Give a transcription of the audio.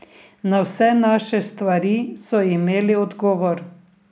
Na vse naše stvari so imeli odgovor.